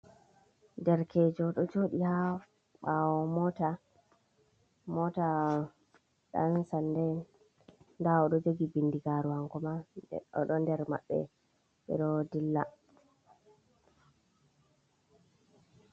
Derkeejo ɗo joodi haa ɓaawo moota, moota ɗansanda'en, ndaa o ɗo jogi binndigaaru hankomaa o ɗon nder maɓɓe, ɓe ɗo dilla.